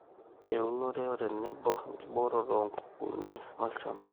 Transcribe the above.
Eunore, otenebo enkibooroto oonkukunik olchamba